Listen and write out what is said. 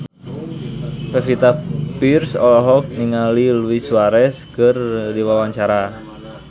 Pevita Pearce olohok ningali Luis Suarez keur diwawancara